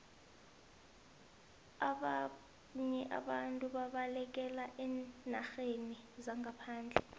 ababnye abantu babalekela eenarheni zangaphandle